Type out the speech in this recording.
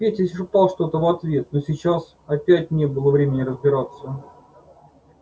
петя шептал что-то в ответ но сейчас опять не было времени разбираться